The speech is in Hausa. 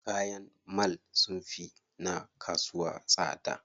Kayan mall sunfi na kasuwa tsada.